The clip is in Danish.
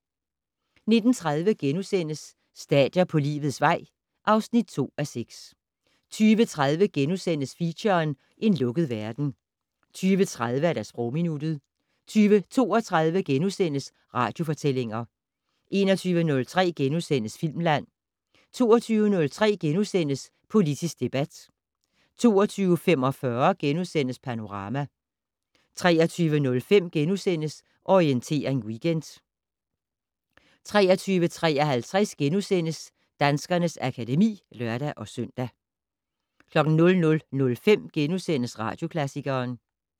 19:30: Stadier på livets vej (2:6)* 20:03: Feature: En lukket verden * 20:30: Sprogminuttet 20:32: Radiofortællinger * 21:03: Filmland * 22:03: Politisk debat * 22:45: Panorama * 23:05: Orientering Weekend * 23:53: Danskernes akademi *(lør-søn) 00:05: Radioklassikeren *